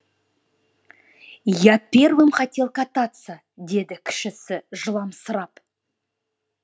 я первым хотел кататься деді кішісі жыламсырап